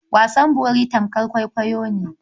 Wasan bori tamkar kwaikwayo ne.